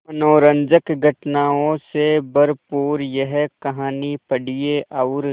मनोरंजक घटनाओं से भरपूर यह कहानी पढ़िए और